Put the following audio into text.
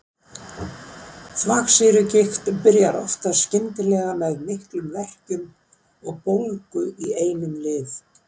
Þvagsýrugigt byrjar oftast skyndilega með miklum verkjum og bólgu í einum lið.